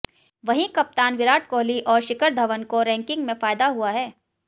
वहीं कप्तान विराट कोहली और शिखर धवन को रैंकिंग में फायदा हुआ है